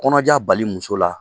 Kɔnɔja bali muso la